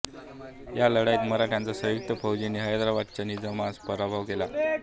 या लढाईत मराठ्यांच्या संयुक्त फौजांनी हैदराबादच्या निजामाचा पराभव केला